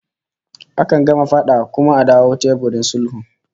Akan gama fada kuma a dawo teburin sulhu